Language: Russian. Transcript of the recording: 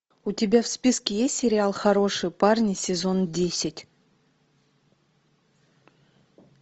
у тебя в списке есть сериал хорошие парни сезон десять